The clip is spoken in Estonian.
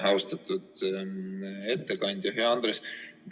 Juhtivkomisjon on teinud ettepaneku eelnõu 381 esimene lugemine lõpetada.